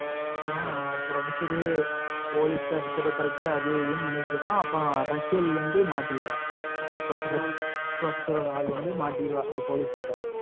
அப்பறம் professor அது, இதுனு பண்ணிட்டு மாட்டிருவா போலிஸ் professor ஆளு மாட்டிருவா போலிஸ் கிட்ட